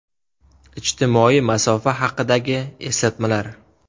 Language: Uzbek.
Ijtimoiy masofa haqidagi eslatmalar.